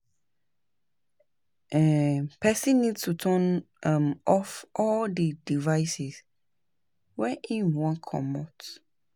ehn Person need to turn um off all di devices when im wan comot